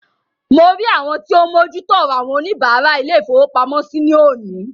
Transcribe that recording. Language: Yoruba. Mo rí àwọn tí o ń mójú tó ọrọ àwọn oníbàárà ilé-ìfowópamọ́sí ní òní.